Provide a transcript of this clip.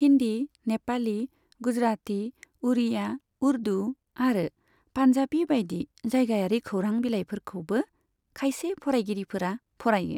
हिन्दी, नेपाली, गुजराती, उड़िया, उर्दु आरो पान्जाबी बायदि जायगायारि खौरां बिलाइफोरखौबो खायसे फरायगिरिफोरा फरायो।